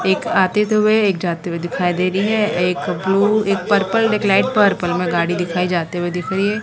एक आते हुए एक जाते हुए दिखाई दे रही है एक ब्ल्यू एक पर्पल एक लाइट पर्पल में गाड़ी दिखाई जाते हुए दिख रही है।